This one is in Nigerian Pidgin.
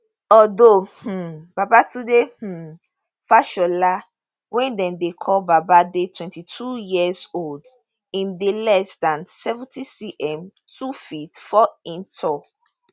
although um babatunde um fashola wey dem dey call baba dey twenty two years old im dey less dan seventy cm two ft four in tall